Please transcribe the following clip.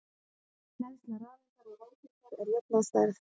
Hleðsla rafeindar og róteindar er jöfn að stærð.